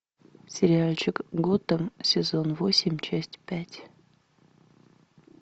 сериальчик готэм сезон восемь часть пять